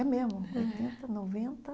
É mesmo. É Oitenta noventa